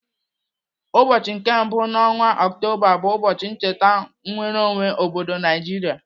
Ụbọchị nke mbụ n'ọnwa Ọktoba bụ ụbọchị ncheta nnwereonwe obodo Naijiria.